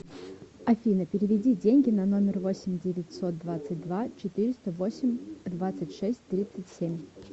афина переведи деньги на номер восемь девятьсот двадцать два четыреста восемь двадцать шесть тридцать семь